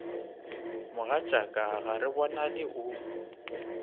mogatšaka ga re bonane o